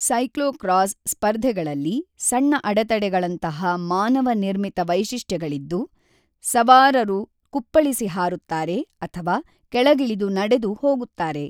Cyclocross ಸ್ಪರ್ಧೆಗಳಲ್ಲಿ ಸಣ್ಣ ಅಡೆತಡೆಗಳಂತಹ ಮಾನವ ನಿರ್ಮಿತ ವೈಶಿಷ್ಟ್ಯಗಳಿದ್ದು, ಸವಾರರು ಕುಪ್ಪಳಿಸಿ ಹಾರುತ್ತಾರೆ ಅಥವಾ ಕೆಳಗಿಳಿದು ನಡೆದು ಹೋಗುತ್ತಾರೆ.